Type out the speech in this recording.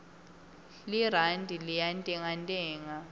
lirandi liyantengantenga